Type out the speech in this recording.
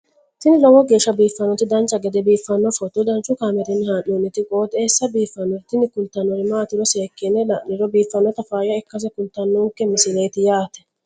tini lowo geeshsha biiffannoti dancha gede biiffanno footo danchu kaameerinni haa'noonniti qooxeessa biiffannoti tini kultannori maatiro seekkine la'niro biiffannota faayya ikkase kultannoke misileeti yaate